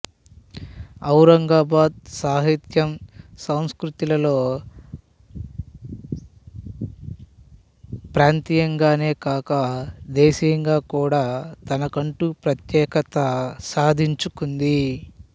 ఔరంగాబాదు సాహిత్యం సస్కృతిలలో ప్రంతీయంగానే కాక దేశీయంగా కూడా తనకంటూ ప్రత్యేకత సాధించుకుంది